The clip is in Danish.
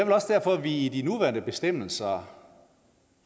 også derfor vi i de nuværende bestemmelser